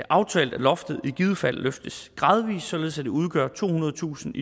aftalt at loftet i givet fald løftes gradvis således at det udgør tohundredetusind